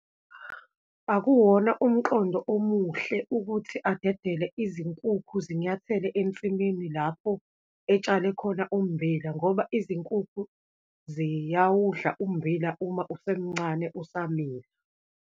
Akuwona umqondo omuhle ukuthi adedele izinkukhu zinyathele ensimini lapho etshale khona ummbila, ngoba izinkukhu ziyawudla ummbila uma usemncane, usamila.